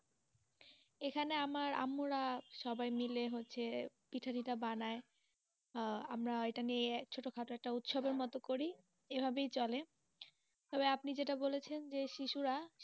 এখানে আমার আম্মু রা, সবাই মিলে হচ্ছে পিঠাটিঠা বানাই আঃ আমরা এটা নিয়ে, ছোটোখাটো উৎসবের মতো করি, এই ভাবেই চলে, তবে আপনি যেটা বলেছেন শিশুরা,